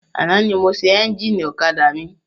Àná ni mo ṣe ẹ́njìnì ọ̀kadà mi.